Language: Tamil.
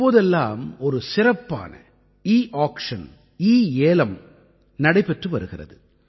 இப்போதெல்லாம் ஒரு சிறப்பான ஈ ஆக்க்ஷன் ஈ ஏலம் நடைபெற்று வருகிறது